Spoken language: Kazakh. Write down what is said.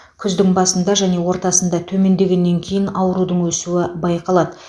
күздің басында және ортасында төмендегеннен кейін аурудың өсуі байқалады